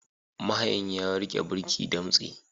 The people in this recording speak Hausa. Mahayin ya rike birki damtse.